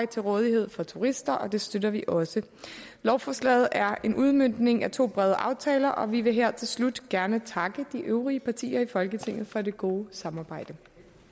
til rådighed for turister og det støtter vi også lovforslaget er en udmøntning af to brede aftaler og vi vil her til slut gerne takke de øvrige partier i folketinget for det gode samarbejde